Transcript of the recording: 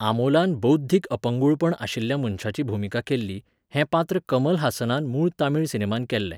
आमोलान बौध्दीक अपंगूळपण आशिल्ल्या मनशाची भुमिका केल्ली, हें पात्र कमल हासनान मूळ तमीळ सिनेमांत केल्लें.